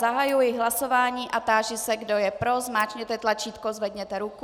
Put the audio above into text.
Zahajuji hlasování a táži se, kdo je pro, zmáčkněte tlačítko, zvedněte ruku.